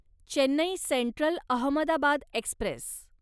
Chennai Central Ahmedabad Express